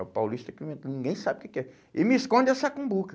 É o paulista que inventou, ninguém sabe o que é que é. E me esconde essa cumbuca.